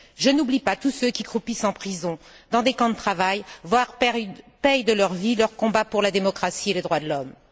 Je n'oublie pas tous ceux qui croupissent en prison, dans des camps de travail, voire paient de leur vie leur combat pour la démocratie et les droits de l'homme.